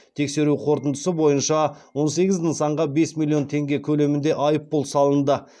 тексеру қорытындысы бойынша он сегіз нысанға бес миллион теңге көлемінде айыппұл салынды